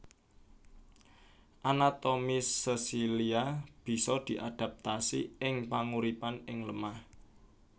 Anatomi sesilia bisa adaptasi ing panguripan ing lemah